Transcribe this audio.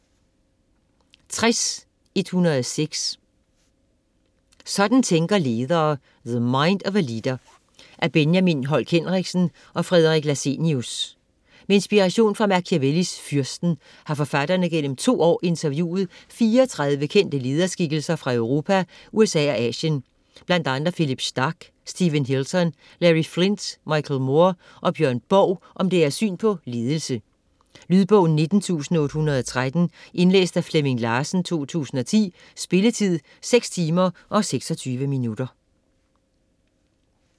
60.106 Sådan tænker ledere: the mind of a leader Af Benjamin Holk Henriksen og Fredrik Lassenius. Med inspiration fra Machiavellis Fyrsten har forfatterne gennem 2 år interviewet 34 kendte lederskikkelser fra Europa, USA og Asien, bl.a. Phillipe Starck, Steven Hilton, Larry Flynt, Michael Moore og Björn Borg om deres syn på ledelse. Lydbog 19813 Indlæst af Flemming Larsen, 2010. Spilletid: 6 timer, 26 minutter.